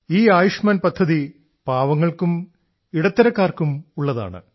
ഈ ആയുഷ്മാൻ പദ്ധതി പാവങ്ങൾക്കും ഇടത്തരക്കാർക്കും ഉള്ള പദ്ധതിയാണ്